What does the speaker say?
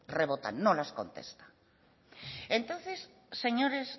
rebotan no las contesta entonces señores